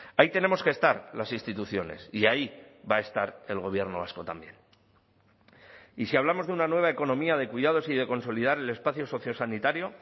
ahí tenemos que estar las instituciones y ahí va a estar el gobierno vasco también y si hablamos de una nueva economía de cuidados y de consolidar el espacio socio sanitario